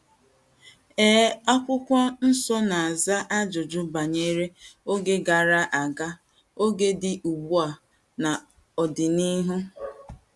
Ee, akwụkwọ nsọ na - aza ajụjụ banyere oge gara aga, oge dị ugbu a, na ọdịnihu.